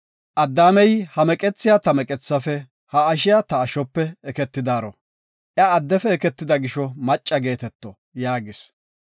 Addaamey, “Ha meqethiya ta meqethafe, ha ashshiya ta ashope eketidaro. Iya addefe eketida gisho macca geeteto” yaagis.